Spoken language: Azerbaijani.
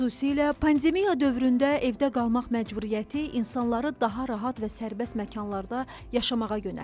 Xüsusilə pandemiya dövründə evdə qalmaq məcburiyyəti insanları daha rahat və sərbəst məkanlarda yaşamağa yönəltdi.